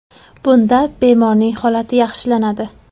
Bunda bemorning holati yaxshilanadi.